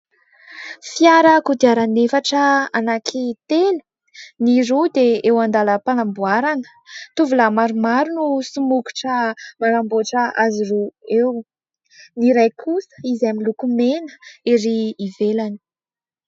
Fiara kodiaran'efatra anankitelo. Ny roa dia eo andalam-panamboarana. Tovolahy maromaro no somokotra manamboatra azy roa eo. Ny iray kosa izay miloko mena erỳ ivelany.